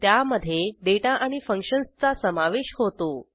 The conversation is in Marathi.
त्यामधे डेटा आणि फंक्शन्सचा समावेश होतो